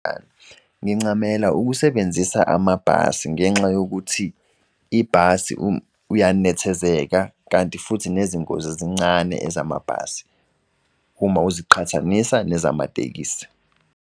Ngincamela ukusebenzisa amabhasi ngenxa yokuthi ibhasi uyanethezeka kanti futhi nezingozi zincane ezamabhasi uma uziqhathanisa nezamatekisi.